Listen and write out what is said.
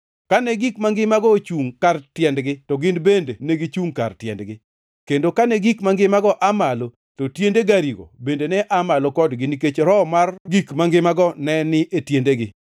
Kane gik mangimago ochungʼ kar tiendgi; to gin bende negichungʼ kar tiendgi, kendo kane gik mangimago aa malo, to tiende garigo bende ne aa malo kodgi, nikech roho mar gik mangimago ne ni e tiendegi.